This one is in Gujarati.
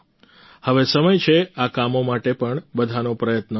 હવે સમય છે આ કામો માટે પણ બધાનો પ્રયત્ન વધે